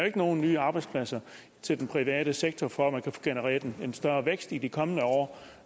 ikke nogen nye arbejdspladser til den private sektor for at man kan få genereret en større vækst i de kommende år